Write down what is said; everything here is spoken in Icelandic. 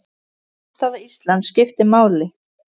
Afstaða Íslands skiptir máli.